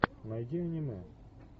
найди аниме